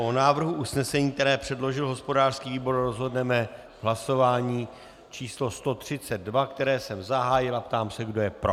O návrhu usnesení, které předložil hospodářský výbor, rozhodneme v hlasování číslo 132, které jsem zahájil, a ptám se, kdo je pro.